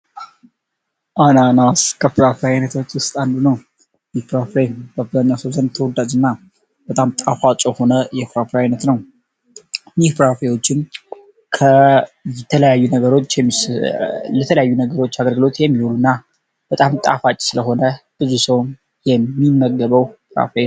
አናናስ ከፍራፍሬ አይነቶች ውስጥ አንዱ ነው። ከፍራፍሬ በብጋኛው ሰዘንድ ተወዳጅ እና በጣም ጣፋጭ ሆነ የፍራፕራ ሃአይነት ነው ኒፕራፌዎችን ከለተለያዩ ነገሮች አገርግሎት የሚውሉ እና በጣም ጣፋጭ ስለሆነ ብዙ ሰውን የሚመገበው ፍራፍሬ ነው።